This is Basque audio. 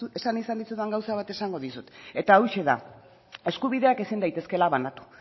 esan izan dizudan gauza bat esango dizut eta hauxe da eskubideak ezin daitezkela banatu